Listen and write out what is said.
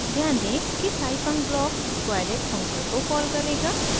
ध्यान दें कि scifunc ब्लॉक squareit फंक्शन को कॉल करेगा